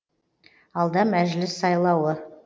алда мәжіліс сайлауы